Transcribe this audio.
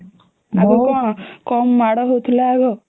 ଆଗୁ କଣ କାମ ମାଡ ହଉଥିଲା ଆଗ